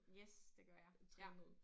Yes det gør jeg ja